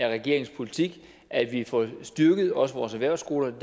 af regeringens politik at vi får styrket også vores erhvervsskoler det